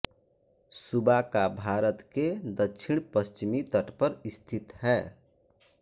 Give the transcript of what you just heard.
सूबा का भारत के दक्षिणपश्चिमी तट पर स्थित है